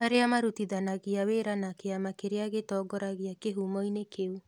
Arĩa marutithanagia wĩra na kĩama kĩrĩa gĩtongoragia kīhumo-inĩ kĩu